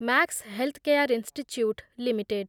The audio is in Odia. Max Healthcare Institute limited